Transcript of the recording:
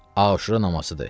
Aşura namazıdır.